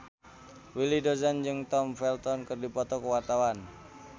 Willy Dozan jeung Tom Felton keur dipoto ku wartawan